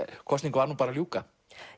kosningu var nú bara að ljúka